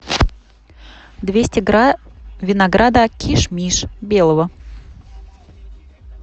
двести грамм винограда киш миш белого